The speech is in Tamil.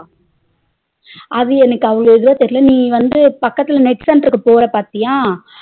அது எனக்கு அவ்ளோ இதுவா தெரியல நீ வந்து பக்கத்துல net center க்கு போற பாத்தியா